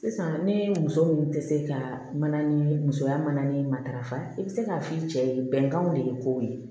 Sisan ne muso min tɛ se ka mana ni musoya mana ni matarafa i bi se k'a f'i cɛ ye bɛnkanw de ye kow ye